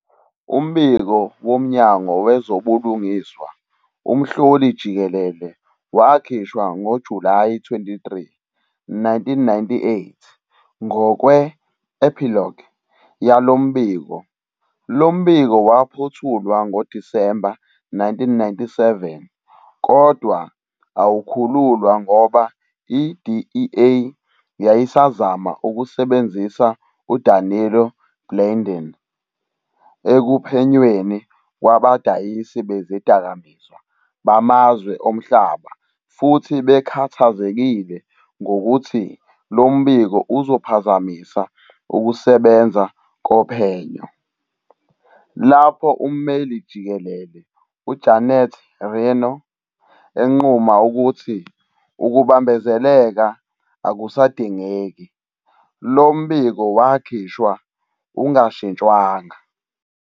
Umbiko woMnyango Wezobulungiswa Umhloli-Jikelele wakhishwa ngoJulayi 23, 1998. Ngokwe- "Epilogue" yalo mbiko, lo mbiko waphothulwa ngoDisemba 1997 kodwa awukhululwa ngoba i-DEA yayisazama ukusebenzisa uDanilo Blandón ekuphenyweni kwabadayisi bezidakamizwa bamazwe omhlaba futhi bekhathazekile ngokuthi lo mbiko uzophazamisa ukusebenza kophenyo. Lapho uMmeli Jikelele uJanet Reno enquma ukuthi ukubambezeleka akusadingeki, lo mbiko wakhishwa ungashintshwanga.